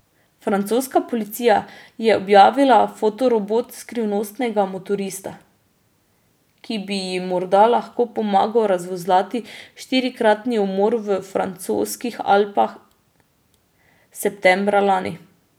Francoska policija je objavila fotorobot skrivnostnega motorista, ki bi jim morda lahko pomagal razvozlali štirikratni umor v francoskih Alpah septembra lani.